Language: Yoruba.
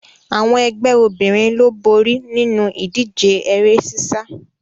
Àwọn ẹgbẹ́ obìnrin ló borí nínu ìdíje eré sísá